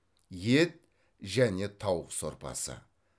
ет және тауық сорпасы